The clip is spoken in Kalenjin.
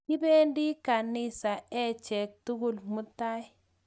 Kipendi ganisa achek tukul mutai